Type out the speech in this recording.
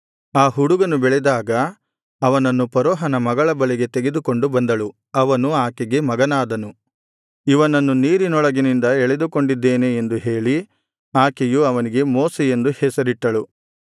ಆ ಹುಡುಗನು ಬೆಳೆದಾಗ ಅವನನ್ನು ಫರೋಹನ ಮಗಳ ಬಳಿಗೆ ತೆಗೆದುಕೊಂಡು ಬಂದಳು ಅವನು ಆಕೆಗೆ ಮಗನಾದನು ಇವನನ್ನು ನೀರಿನೊಳಗಿನಿಂದ ಎಳೆದುಕೊಂಡಿದ್ದೇನೆ ಎಂದು ಹೇಳಿ ಆಕೆಯು ಅವನಿಗೆ ಮೋಶೆ ಎಂದು ಹೆಸರಿಟ್ಟಳು